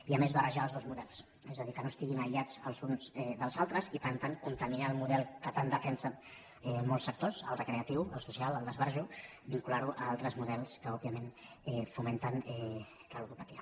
i a més barrejar els dos models és a dir que no estiguin aïllats els uns dels altres i per tant contaminar el model que tant defensen molts sectors el recreatiu el social el d’esbarjo vincular ho a altres models que òbviament fomenten la ludopatia